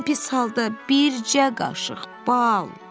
Ən pis halda bircə qaşıq bal!